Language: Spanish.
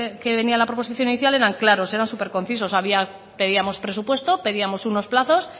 que venían en la proposición inicial eran claros eran superconcisos pedíamos presupuesto pedíamos unos plazos